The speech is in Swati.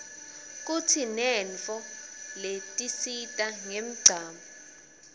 kutsinetnso letisita nqemchamo